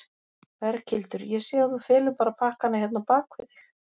Berghildur: Ég sé að þú felur bara pakkann hérna á bak við þig?